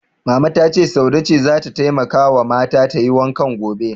Mama ta ce Saude ce zata taimakawa mata tayi wankan gobe.